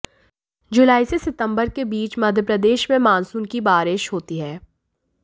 जुलाई से सितंबर के बीच मध्य प्रदेश में मॉनसून क बारिश होती है